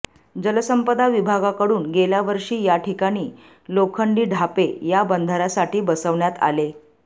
जलसंपदा विभागाकडून गेल्यावर्षी या ठिकाणी लोखंडी ढापे या बंधाऱ्यासाठी बसवण्यात आले